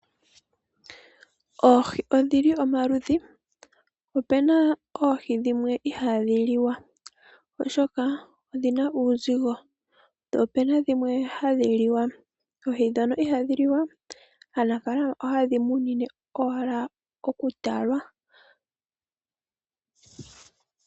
Oohi odhili omaludhi, opuna oohi dhimwe ihaadhi liwa oshoka odhina uuzigo. Opuna dhimwe hadhi liwa. Oohi ndhono ihaadhi liwa aanafaalama oha yedhi munine owala oku talwa.